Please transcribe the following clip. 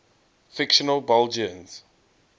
fictional belgians